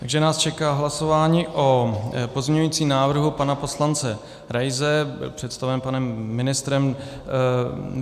Takže nás čeká hlasování o pozměňujícím návrhu pana poslance Raise představeném panem ministrem.